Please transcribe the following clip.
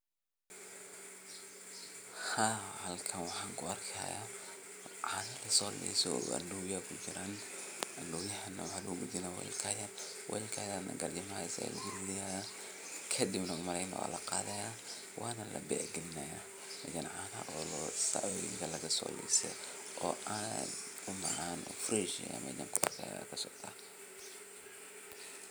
Haa halkan waxan kuarkayaa cano a Lasolise o andowya kuiiran andowyaha ne waha lobadalaya welka yar welka yar ne garjimahas aya lagushuwaya kadib ne walaqathaya wana label galinayaa canon xola lagasolise o and umacan o fresh ah aya meshan kuarkaya